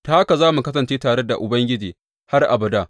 Ta haka za mu kasance tare da Ubangiji har abada.